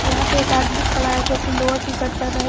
यहां पे एक आदमी खड़ा है जो कि लोवर टी शर्ट पहना है।